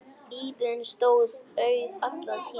Íbúðin stóð auð allan tímann.